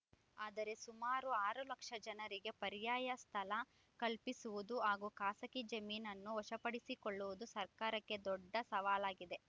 ಆದರೆ ಸುಮಾರು ಆರು ಲಕ್ಷ ಜನರಿಗೆ ಪರ್ಯಾಯ ಸ್ಥಳ ಕಲ್ಪಿಸುವುದು ಹಾಗೂ ಖಾಸಗಿ ಜಮೀನನ್ನು ವಶಪಡಿಸಿಕೊಳ್ಳುವುದು ಸರ್ಕಾರಕ್ಕೆ ದೊಡ್ಡ ಸವಾಲಾಗಿದೆ